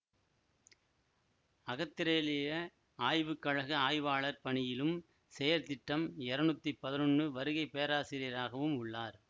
அகத்திரேலிய ஆய்வு கழக ஆய்வாளார் பணியிலும் செயற்திட்டம் இருநூத்தி பதினொன்னு வருகை பேராசிரியராகவும் உள்ளார்